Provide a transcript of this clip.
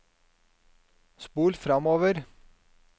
spol framover